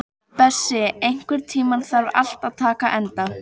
Bessi, einhvern tímann þarf allt að taka enda.